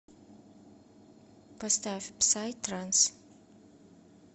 поставь псай транс